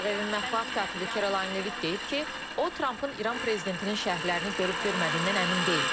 Ağ Evin mətbuat katibi Kirilayn Levit deyib ki, o Trampın İran prezidentinin şərhlərini görüb görmədiyindən əmin deyil.